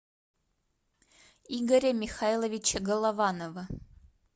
игоря михайловича голованова